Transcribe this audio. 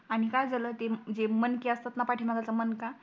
आणि काय झाल ते जे मणके असतात पाटी मागचा मणका